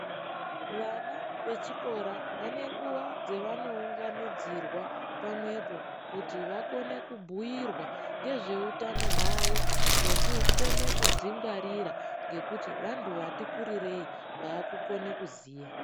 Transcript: Vana vechikora vanenguva dzavanounganidzirwa pamwepo kuti vakone kubhuyirwa ngezveutano hwavo nekukone kudzingwarira ngekuti vantu vatikurirei vaakukone kuziya.